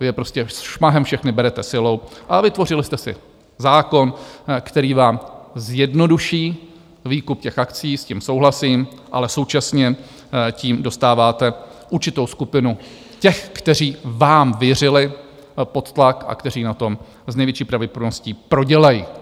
Vy je prostě šmahem všechny berete silou a vytvořili jste si zákon, který vám zjednoduší výkup těch akcií, s tím souhlasím, ale současně tím dostáváte určitou skupinu těch, kteří vám věřili, pod tlak, a kteří na tom s největší pravděpodobností prodělají.